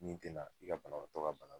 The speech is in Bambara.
Min tina i ka banabaatɔ ka bana